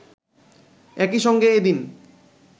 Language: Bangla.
একইসঙ্গে এদিন